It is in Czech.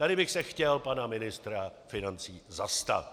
Tady bych se chtěl pana ministra financí zastat.